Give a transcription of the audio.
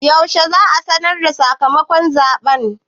Yaushe za su sanarda sakamakon zaɓen?